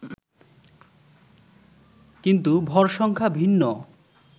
কিন্তু ভর সংখ্যা ভিন্ন